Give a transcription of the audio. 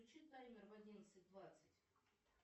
включи таймер в одиннадцать двадцать